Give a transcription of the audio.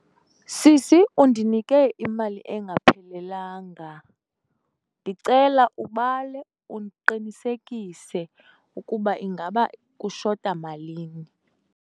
Sisi, undinike imali engaphelelanga. Ndicela ubale uqinisekise ukuba ingaba kushota malini.